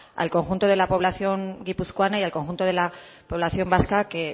al conjunto de la población guipuzcoana y al conjunto de la población vasca que